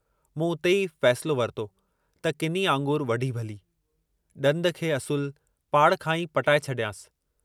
मूं उते ई फ़ैसिलो वरितो त किनी आङुर वढी भली, डंदु खे असलु पाड़ खां ई पटाए छॾियांसि।